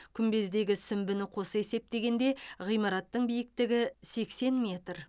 күмбездегі сүмбіні қоса есептегендегі ғимараттың биіктігі сексен метр